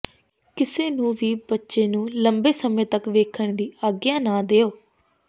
ਕਿਸੇ ਨੂੰ ਵੀ ਬੱਚੇ ਨੂੰ ਲੰਬੇ ਸਮੇਂ ਤੱਕ ਵੇਖਣ ਦੀ ਆਗਿਆ ਨਾ ਦਿਓ